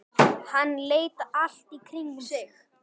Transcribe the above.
Hann leit allt í kringum sig.